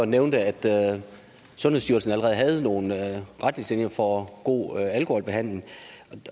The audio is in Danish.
nævnte at sundhedsstyrelsen allerede havde nogle retningslinjer for god alkoholbehandling